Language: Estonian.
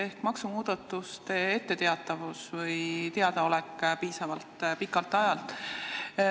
See on maksumuudatustest etteteatamine või nende teadaolek piisavalt pikka aega ette.